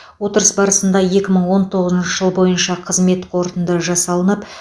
отырыс барысында екі мың он тоғызыншы жыл бойынша қызмет қорытынды жасалып